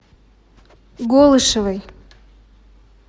голышевой